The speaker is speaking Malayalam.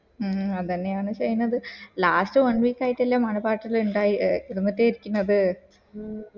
മ് ഹ് അതന്നെയാണ് ചെയ്‌ന്നത്‌ last one week ആയിട്ടല്ലേ മഴ പാട്ടല് ഇണ്ടായി ഏർ ഇടന്നോട്ടെ